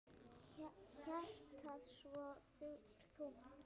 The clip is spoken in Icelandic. Hjartað svo þungt.